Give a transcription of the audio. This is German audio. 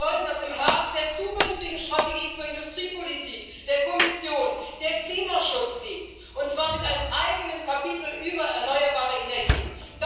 Wir wollen, dass im Herzen der zukünftigen Strategie zur Industriepolitik der Kommission der Klimaschutz liegt, und zwar mit einem eigenen Kapitel über erneuerbare Energien.